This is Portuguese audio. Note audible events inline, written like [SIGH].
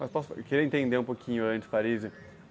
Mas posso, queria entender um pouquinho antes, [UNINTELLIGIBLE]